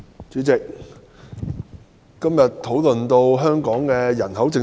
主席，今天的討論關乎香港的人口政策。